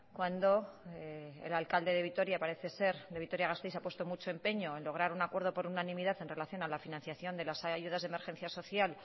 cuando el alcalde de vitoria parece ser de vitoria gasteiz ha puesto mucho empeño en lograr un acuerdo por unanimidad en relación a la financiación de las ayudas de emergencias social